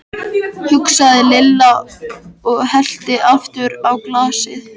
hugsaði Lilla og hellti aftur í glasið.